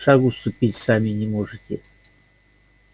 шагу ступить сами не можете